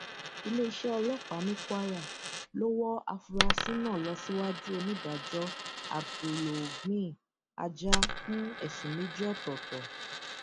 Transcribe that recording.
iléeṣẹ ọlọpàá ní kwara ló wọ àfúrásì náà lọ síwájú onídàájọ abdulogneey ajáa fún ẹsùn méjì ọtọọtọ